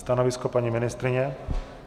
Stanovisko paní ministryně?